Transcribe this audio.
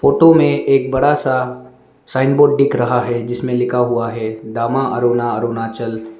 Photo मे एक बड़ा सा साइन बोर्ड दिख रहा है जिसमें लिखा हुआ है दामा अरुणा अरुणाचल।